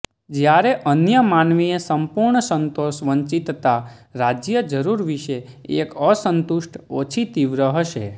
જ્યારે અન્ય માનવીય સંપૂર્ણ સંતોષ વંચિતતા રાજ્ય જરૂર વિશે એક અસંતુષ્ટ ઓછી તીવ્ર હશે